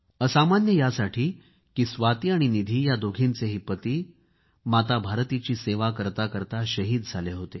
असामान्य यासाठी की स्वाती आणि निधी या दोघींचेही पती भारतमातेची सेवा करता करता शहीद झाले होते